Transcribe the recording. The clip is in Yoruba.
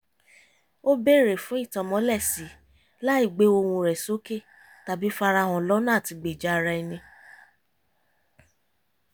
ó bèrè fún ìtànmọ́lẹ̀-sí láì gbé ohùn rẹ̀ sókè tàbí farahàn lọ́nà àtigbèja ara ẹni